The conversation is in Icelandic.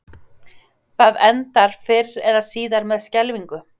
Það endar fyrr eða síðar með skelfingu.